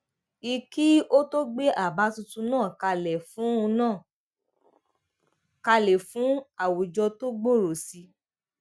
i kí ó tó gbé àbá tuntun náà kalẹ fún náà kalẹ fún àwùjọ tó gbòòrò sí i